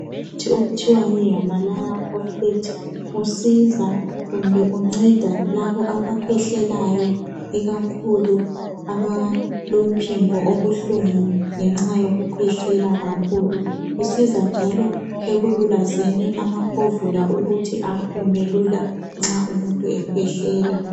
Umuthi okuthiwa yihimalaya koflet usiza kumbe unceda labo abakhwehlelayo ikakhulu abalemphimbo obuhlungu ngenxa yokukhwehlela kakhulu usiza njalo ekululazeni amakhovula ukuthi aphume lula nxa umuntu ekhwehlela.